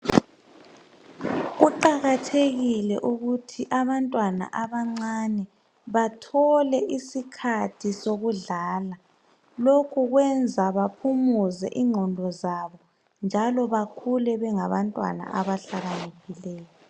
Kuqakathekile ukuthi abantwana abancane bathole isikhathi sokudlala. Lokhu kwenza baphumuze ingqondo zabo njalo bakhule bangabantwana abahlakaniphileyo.